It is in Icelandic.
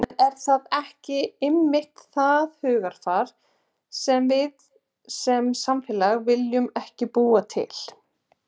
En er það ekki einmitt það hugarfar sem við sem samfélag viljum ekki búa til?